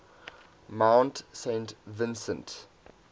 mount saint vincent